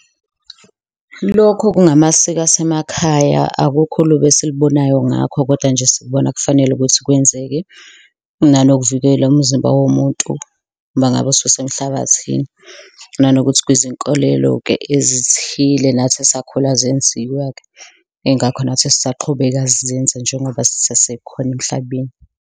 Lokho kungamasiko asemakhaya, akukho olubi esilibonayo ngakho kodwa nje sikubona kufanele ukuthi kwenzeke nanokuvikela umzimba womuntu mangabe ususemhlabathini. Nanokuthi kwizinkolelo-ke ezithile nathi esakhula zenziwa-ke, yingakho nathi sisaqhubeka sizenza njengoba sisesekhona emhlabeni.